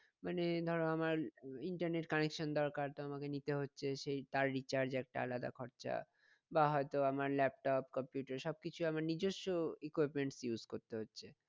মানে ধরো আমার internet connection দরকার তো আমাকে নিতে হচ্ছে। সেই তার recharge একটা আলাদা খরচা বা হয় তো আমার laptop computer সবকিছু, সবকিছু আমার নিজেস্য equipment used করতে হচ্ছে।